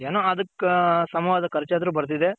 ಏನೋ ಅದಕ್ಕ್ ಸಮಾವಾದ ಖರ್ಚ್ ಆದರು ಬರ್ತಿದೆ.